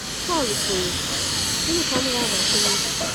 Pọl kwuru, “Gịnị ka m ga-agbakwunye?”